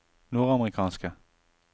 nordamerikanske